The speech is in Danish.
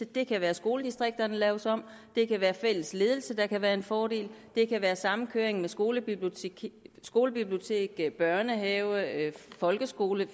det kan være skoledistrikter der laves om det kan være fælles ledelse der kan være en fordel det kan være samkøring med skolebibliotek skolebibliotek børnehave folkeskole